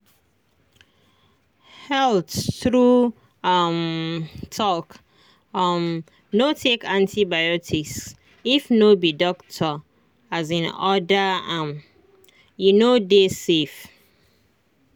halttrue um talk um no take antibiotics if no be doctor um order ame no dey safe.